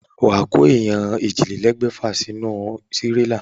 Wà á kó èèyàn òjìlélẹ̀ẹ́dégbèfà sínú tírélá.